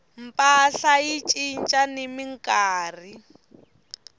mpahla yi cinca ni minkarhi